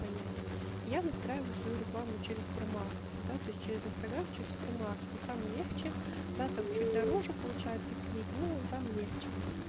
понять я настраиваю свою рекламу через промо-акции да то есть через инстаграм через промо-акции там легче да там чуть дороже получается клик но там легче